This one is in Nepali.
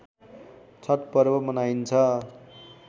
छठ पर्व मनाइन्छ